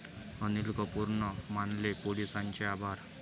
अनिल कपूरनं मानले पोलिसांचे आभार